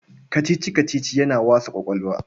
Kacici-kacici yana wasa ƙwaƙwalwa.